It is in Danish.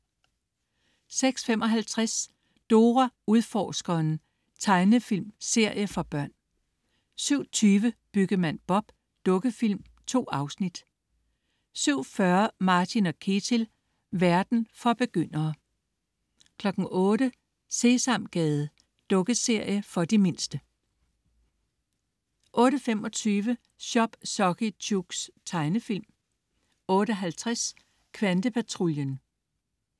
06.55 Dora Udforskeren. Tegnefilmserie for børn 07.20 Byggemand Bob. Dukkefilm. 2 afsnit 07.40 Martin & Ketil. Verden for begyndere 08.00 Sesamgade. Dukkeserie for de mindste 08.25 Chop Socky Chooks. Tegnefilm 08.50 Kvantepatruljen